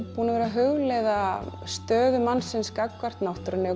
verið að hugleiða stöðu mannsins gagnvart náttúrunni og